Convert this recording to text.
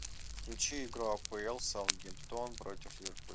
включи игру апл саутгемптон против ливерпуль